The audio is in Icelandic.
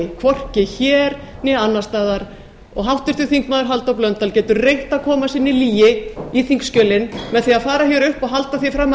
hvorki hér né annars staðar háttvirtur þingmaður halldór blöndal getur reynt að koma sinni lygi í þingskjölin með því að fara hér upp og halda því fram